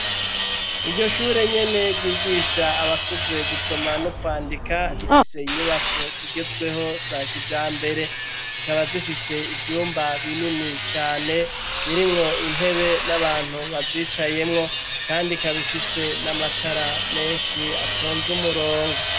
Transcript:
Iryo shure nyene ryigisha abakuze gusoma no kwandika rifise inyubako zigezweho za kijambere zikaba zifise ivyumba binini cane birimwo intebe n'abantu bazicayemwo kandi kabifise n'amatara menshi atonze umurongo.